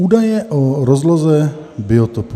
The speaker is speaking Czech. Údaje o rozloze biotopů.